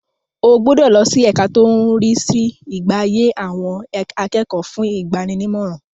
O gbúdọ̀ lọ sí ẹka tó ń rí sí ìgbáyé àwọn akẹ́kọ̀ọ́ fún ìgbaninímọ̀ràn.